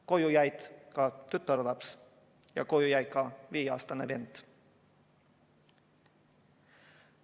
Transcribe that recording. Koju jäi ka tütarlaps ja jäi ka tema viieaastane vend.